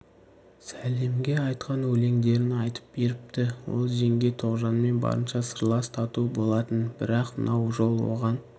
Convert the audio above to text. сәлемге айтқан өлеңдерін айтып беріпті ол жеңге тоғжанмен барынша сырлас тату болатын бірақ мынау жол оған